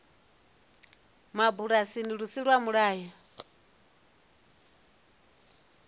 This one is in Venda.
mabulasini lu si lwa mulayo